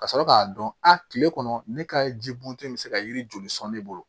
Ka sɔrɔ k'a dɔn a tile kɔnɔ ne ka ji bɔntɔ in bɛ se ka yiri joli sɔn ne bolo